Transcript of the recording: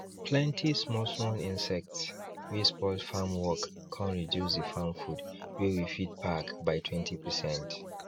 plenty small small insects wey spoil farm work con reduce the farm food wey we fit pack by 20percent